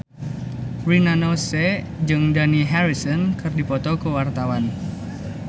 Rina Nose jeung Dani Harrison keur dipoto ku wartawan